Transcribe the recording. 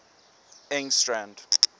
engstrand